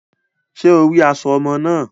Ṣe o ri aṣọ ọmọ náà?